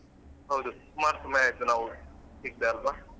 ಹೌದು ಸುಮಾರ್ ಸಮಯ ಆಯ್ತು ನಾವ್ ಸಿಕ್ದೆ ಅಲ್ವಾ.